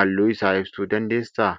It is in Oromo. halluu isaa ibsuu dandeessaa?